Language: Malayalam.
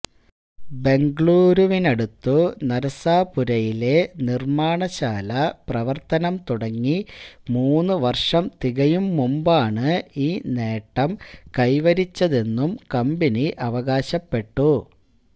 ബെംഗളൂരുവിനടുത്തു നരസാപുരയിലെ നിർമാണശാല പ്രവർത്തനം തുടങ്ങി മൂന്നു വർഷം തികയും മുമ്പാണ് ഈ നേട്ടം കൈവരിച്ചതെന്നും കമ്പനി അവകാശപ്പെട്ടു